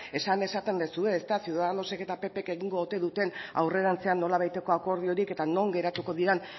esan esaten duzue ciudadanos ek eta ppek egingo ote duten aurrerantzean nolabaiteko akordiorik eta non geratuko diren